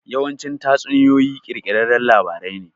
Yawanci tatsuniyoyi ƙirƙirarran labarin ne.